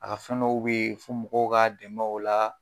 A ka fɛn dɔ be yen, fo mɔgɔw ka dɛmɛ o la